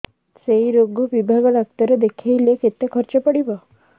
ସେଇ ରୋଗ ବିଭାଗ ଡ଼ାକ୍ତର ଦେଖେଇଲେ କେତେ ଖର୍ଚ୍ଚ ପଡିବ